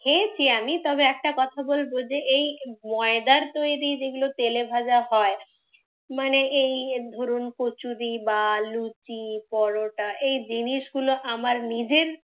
খেয়েছি আমি। তবে একটা কথা বলবো যে এই ময়দার তৈরি যেগুলো তেলেভাজা হয় মানে এই ধরুন কচুরি বা লুচি, পরোটা, এই জিনিস গুলো আমার নিজের